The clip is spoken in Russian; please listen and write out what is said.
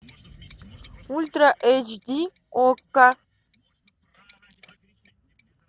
ультра эйч ди окко